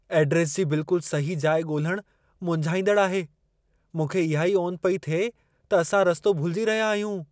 Address जी बिल्कुल सही जाइ ॻोल्हणु मुंझाईंदड़ु आहे। मूंखे इहा ई ओन पई थिए त असां रस्तो भुलजी रहिया आहियूं।